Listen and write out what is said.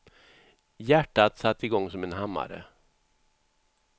Hjärtat satte igång som en hammare.